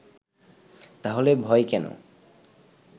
তাহলে ভয় কেন